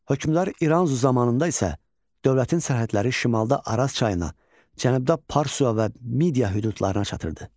Hökmdar İranzu zamanında isə dövlətin sərhədləri şimalda Araz çayına, cənubda Parsua və Midiya hüdudlarına çatırdı.